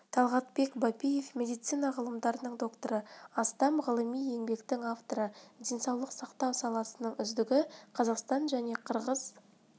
талғатбек бапиев медицина ғылымдарының докторы астам ғылыми еңбектің авторы денсаулық сақтау саласының үздігі қазақстан және қырғыз